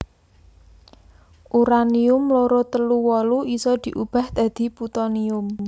Uranium loro telu wolu isa diubah dadi Putonium